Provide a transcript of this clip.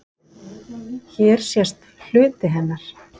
Hér sést hluti hennar.